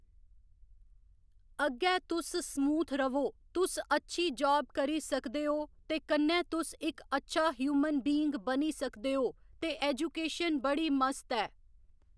अग्गै तुस स्मूथ र'वो तुस अच्छी जाब करी सकदे ओ ते कन्नै तुस इक्क अच्छा ह्यूमन बीइंग बनी सकदे ओ ते एजूकेशन बड़ी मस्त ऐ